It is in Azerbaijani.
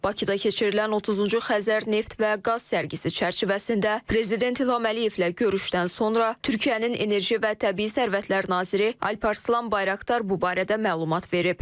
Bakıda keçirilən 30-cu Xəzər Neft və Qaz sərgisi çərçivəsində Prezident İlham Əliyevlə görüşdən sonra Türkiyənin enerji və təbii sərvətlər naziri Alparslan Bayraqdar bu barədə məlumat verib.